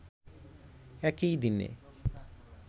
একই দিনে